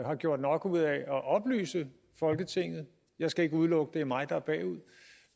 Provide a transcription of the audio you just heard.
har gjort nok ud af at oplyse folketinget jeg skal ikke udelukke at det er mig der